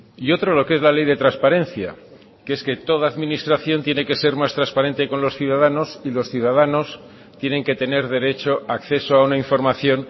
y otro lo que es la ley de transparencia que es que toda administración tiene que ser más transparente con los ciudadanos y los ciudadanos tienen que tener derecho a acceso a una información